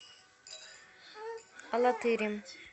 алатырем